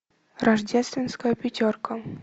рождественская пятерка